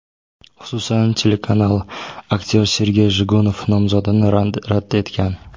Xususan, telekanal aktyor Sergey Jigunov nomzodini rad etgan.